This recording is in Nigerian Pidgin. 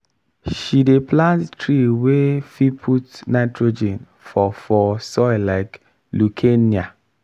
she dey plant tree wey fit put nitrogen for for soil like leucaena